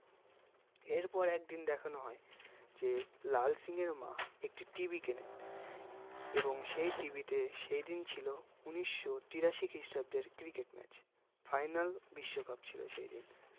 এর পর একদিন দেখানো হয় যে লাল সিং এর মা একটি TV কেনেন এবং সেই TV তে সেদিন ছিল উনিশশোতিরাশি খিষ্ট্রাব্দের cricket match final বিশ্বকাপ ছিল সেইদিন